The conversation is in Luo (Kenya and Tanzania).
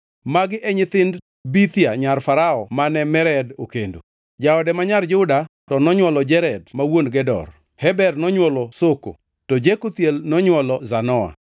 Magi e nyithind Bithia nyar Farao mane Mered okendo. Jaode ma nyar Juda to nonywolo Jered ma wuon Gedor, Heber nonywolo Soko, to Jekuthiel nonywolo Zanoa.